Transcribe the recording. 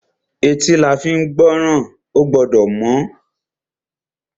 Etí la fín gbọ́ràn. Ó gbọ́dọ̀ mọ́.